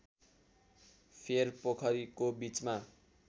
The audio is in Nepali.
फेर पोखरीको बीचमा